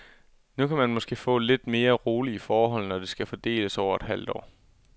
Nu kan man måske få lidt mere rolige forhold, når det skal fordeles over et halvt år.